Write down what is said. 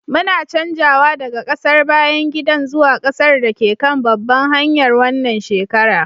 muna canjawa daga ƙasar bayan gidan zuwa ƙasar da ke kan babbar hanyar wannan shekara